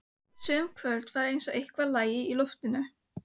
Sum kvöld var eins og eitthvað lægi í loftinu.